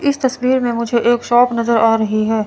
इस तस्वीर में मुझे एक शॉप नजर आ रही है।